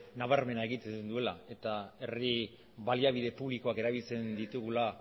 nabarmena egiten duela eta herri baliabide publikoak erabiltzen ditugula